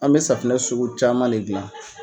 An mɛ safunɛ sugu caman le gilan.